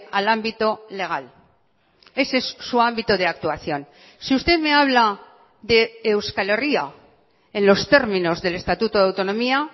al ámbito legal ese es su ámbito de actuación si usted me habla de euskal herria en los términos del estatuto de autonomía